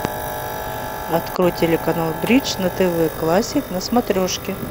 открой телеканал бридж на тв классик на смотрешке